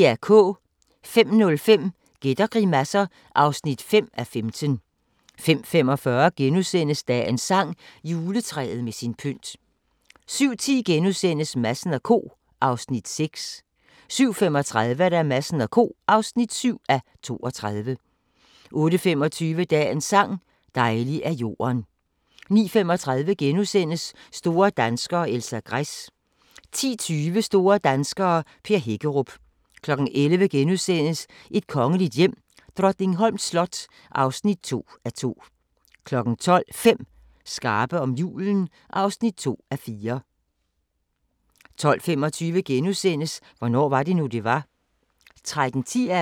05:05: Gæt og grimasser (5:15) 05:45: Dagens sang: Juletræet med sin pynt * 07:10: Madsen & Co. (6:32)* 07:35: Madsen & Co. (7:32) 08:25: Dagens sang: Dejlig er jorden 09:35: Store danskere - Elsa Gress * 10:20: Store danskere - Per Hækkerup 11:00: Et kongeligt hjem: Drottningholms slot (2:2)* 12:00: 5 skarpe om julen (2:4) 12:25: Hvornår var det nu, det var? *